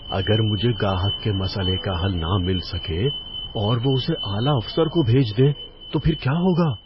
اگر مجھے گاہک کے مسئلے کا حل نہ مل سکے اور وہ اسے اعلی افسر کو بھیج دیں گے تو پھر کیا ہوگا؟